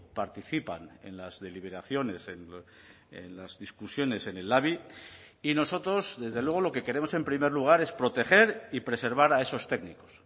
participan en las deliberaciones en las discusiones en el labi y nosotros desde luego lo que queremos en primer lugar es proteger y preservar a esos técnicos